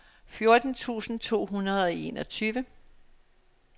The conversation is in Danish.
fjorten tusind to hundrede og enogtyve